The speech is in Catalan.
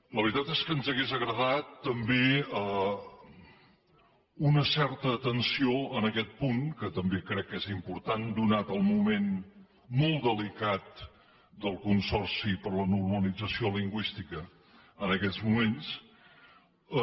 la veritat és que ens hauria agradat també una certa atenció en aquest punt que també crec que és important donat el moment molt delicat del consorci per a la normalització lingüística en aquests moments